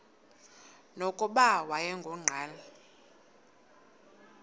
nokuba wayengu nqal